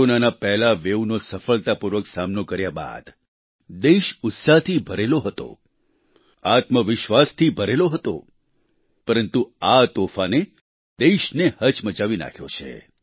કોરોનાના પહેલા વેવનો સફળતાપૂર્વક સામનો કર્યા બાદ દેશ ઉત્સાહથી ભરેલો હતો આત્મવિશ્વાસથી ભરેલો હતો પરંતુ આ તોફાને દેશને હચમચાવી નાખ્યો છે